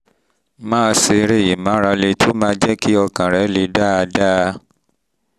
máa ṣe eré ìmárale tó máa jẹ́ kí ọkàn rẹ le dáadáa